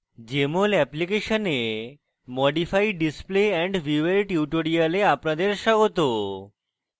jmol অ্যাপ্লিকেশনে modify display and view এর tutorial আপনাদের স্বাগত